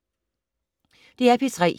DR P3